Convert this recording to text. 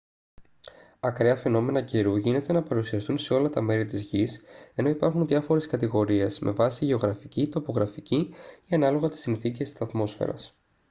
ακραία φαινόμενα καιρού γίνεται να παρουσιαστούν σε όλα τα μέρη της γης ενώ υπάρχουν διάφορες κατηγορίες με βάση γεωγραφική τοπογραφική ή ανάλογα τις συνθήκες της ατμόσφαιρας